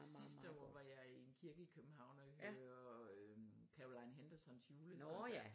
Sdiste år var jeg i en kirke i København og høre øh Caroline Hendersons julekoncert